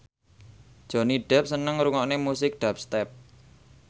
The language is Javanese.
Johnny Depp seneng ngrungokne musik dubstep